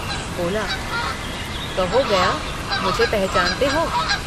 बोला कहो गया मुझे पहचानते हो।